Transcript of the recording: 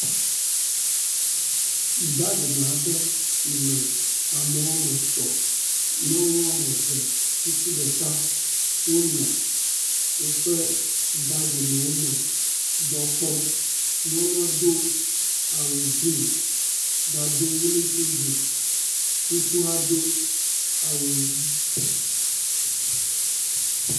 Gaden aɖe si me ame wɔme etɔ̃. Nyɔnu wɔme eve ŋutsu ɖeka wonɔ woƒe gadenwo me gbɔ kpɔm. Nyɔnua do awu grin gado wilintin but, ŋutsua do awu.